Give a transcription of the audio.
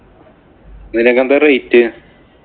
ഇതിനൊക്കെ എന്താ rate?